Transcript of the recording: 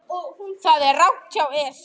Það tel ég alveg víst.